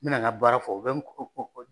N bɛna n ka baara fɔ u bɛ n .